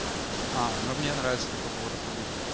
а ну мне нравится такой поворот событий